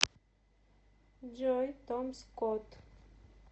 джой том скотт